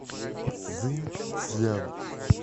цзиньцзян